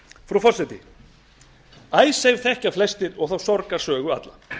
frú forseti icesave þekkja flestir og þá sorgarsögu alla